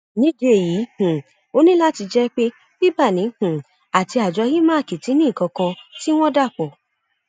nídìí èyí um ó ní láti jẹ pé bíbáni um àti àjọ imac ti ní nǹkan kan tí wọn dà pọ